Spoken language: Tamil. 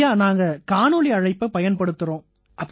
ஐயா நாங்க காணொளி அழைப்பை பயன்படுத்தறோம்